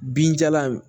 Binjalan in